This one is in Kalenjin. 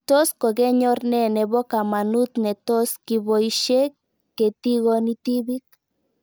Tos kokenyor nee nepo kamanut netos kipoishe ketikoni tipik